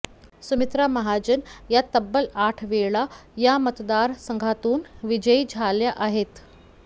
सुमित्रा महाजन या तब्बल आठ वेळा या मतदार संघातून विजयी झाल्या आहेत